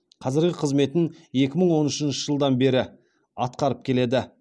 қазіргі қызметін екі мың он үшінші жылдан бері атқарып келеді